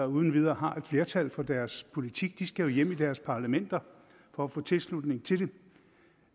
uden videre har et flertal for deres politik de skal hjem i deres parlamenter for at få tilslutning til det